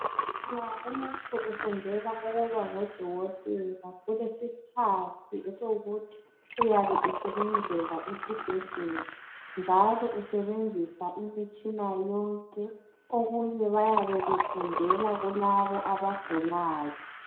Nxa umuntu efundela ukuba ngudokotela, kulesikhathi esokuthi uyabe esebenzela esibhedlela njalo esebenzisa imitshina yonke. Okunye bayabe befundela kulabo abagulayo.